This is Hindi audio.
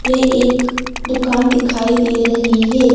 यह एक दुकान दिखाई दे रही है।